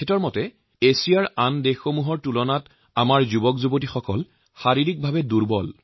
তেওঁৰ মতে অন্যান্য এছিয়া দেশসমূহৰ তুলনাত আমাৰ দেশৰ যুবকসকল শাৰীৰিকভাবে দুৰ্বল